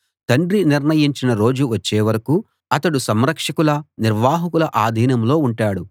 తండ్రి నిర్ణయించిన రోజు వచ్చే వరకూ అతడు సంరక్షకుల నిర్వాహకుల అధీనంలో ఉంటాడు